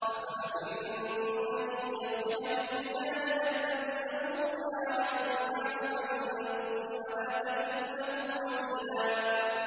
أَفَأَمِنتُمْ أَن يَخْسِفَ بِكُمْ جَانِبَ الْبَرِّ أَوْ يُرْسِلَ عَلَيْكُمْ حَاصِبًا ثُمَّ لَا تَجِدُوا لَكُمْ وَكِيلًا